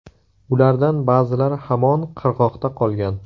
Ulardan ba’zilari hamon qirg‘oqda qolgan.